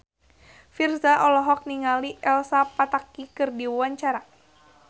Virzha olohok ningali Elsa Pataky keur diwawancara